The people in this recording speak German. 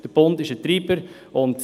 Der Bund ist ein Treiber.